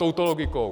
Touto logikou.